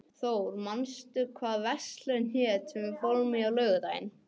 Thór, manstu hvað verslunin hét sem við fórum í á laugardaginn?